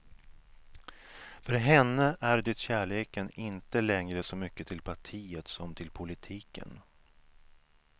För henne är det kärleken inte längre så mycket till partiet som till politiken.